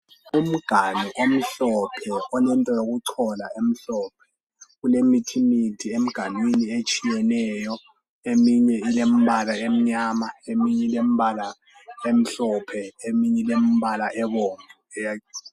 Umganu omhlophe olento yokuchola emhlophe kulemithi mithi enganwini etshiyeneyo eminye ilembala emnyama eminye ilembala emhlophe eminye ilembala ebomvu.